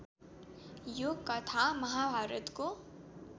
यो कथा महाभारतको